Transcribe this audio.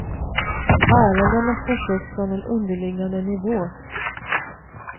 Ärendena förs upp från en underliggande nivå.